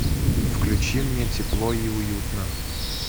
включи мне тепло и уютно